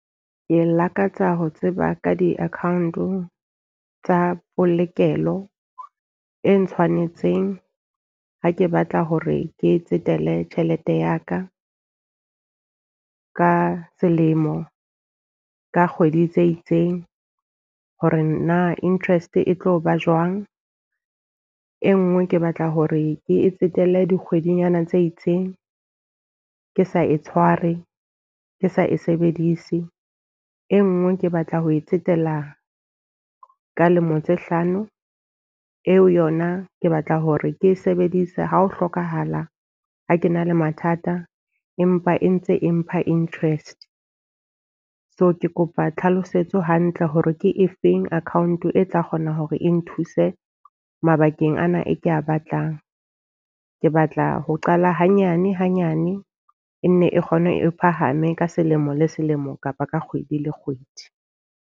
Ke lakatsa ho tseba ka di-account tsa polokelo e ntshwanetseng ha ke batla hore ke tsetele tjhelete ya ka ka selemo ka kgwedi tse itseng. Hore na interest e tlo ba jwang. E nngwe ke batla hore ke tsetele dikgwedinyana tse itseng ke sa e tshware, ke sa e sebedise. E nngwe ke batla ho e tsetela ka lemo tse hlano, eo yona ke batla hore ke e sebedisa ha ho hlokahala ha ke na le mathata, empa e ntse empha interest. So ke kopa tlhalosetso hantle hore ke efeng account e tla kgona hore e nthuse mabakeng ano e ke a batlang. Ke batla ho qala hanyane hanyane e nne e kgone e phahame ka selemo le selemo kapa ka kgwedi le kgwedi.